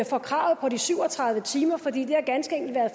fra kravet om de syv og tredive timer fordi det ganske enkelt har